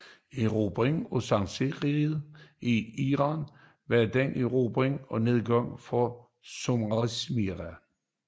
Erobringen af sasanideriget i Iran var den endelige nedgang for zoroastrismen